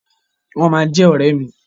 Wọ́n ma jẹ́ ọ̀rẹ́ mi.